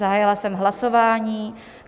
Zahájila jsem hlasování.